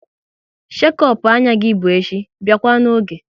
Shekop anya gị bụ echi, biakwa n'oge!